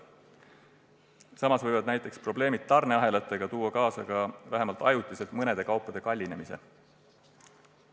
Samas võivad näiteks tarneahelate probleemid tuua kaasa – vähemalt ajutiselt – mõningate kaupade kallinemise.